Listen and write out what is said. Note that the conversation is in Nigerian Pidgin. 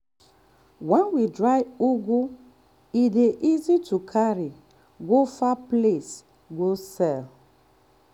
when we dry ugu e dey easy to carry go far place go sell.